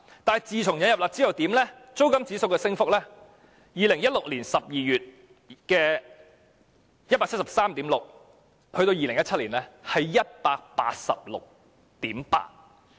但是，自引入"辣招"後，租金指數由2016年12月的 173.6 上升至2017年的 186.8。